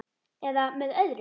. eða með öðrum